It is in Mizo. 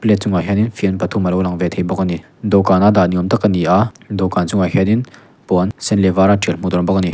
le a chungah hianin fian pathum a lo lang ve thei bawk a ni dawhkânah a dah ni âwm tak a ni a dawhkân chungah hianin puan a sen a vâra ṭial hmuh tûr a awm bawk a ni.